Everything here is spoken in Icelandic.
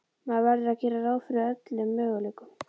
Maður verður að gera ráð fyrir öllum möguleikum.